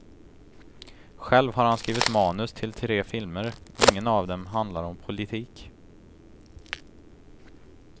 Själv har han skrivit manus till tre filmer, ingen av dem handlar om politik.